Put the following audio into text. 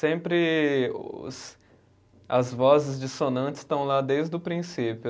Sempre os, as vozes dissonantes estão lá desde o princípio.